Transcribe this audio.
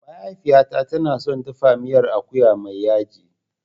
Mahaifiyata tana son dafa miyar akuya mai yaji.